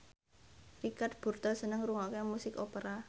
Richard Burton seneng ngrungokne musik opera